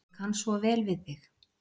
Ég kann svo vel við þig.